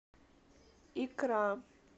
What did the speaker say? икра